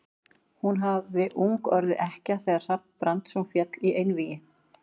Hún hafði ung orðið ekkja þegar Hrafn Brandsson féll í einvígi.